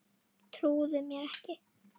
Trúði mér ekki.